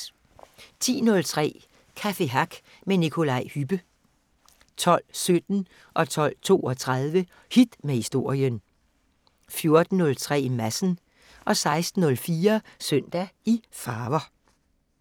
10:03: Café Hack med Nikolaj Hübbe 12:17: Hit med Historien 12:32: Hit med Historien 14:03: Madsen 16:04: Søndag i farver